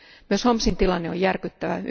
Myös Homsin tilanne järkyttävä.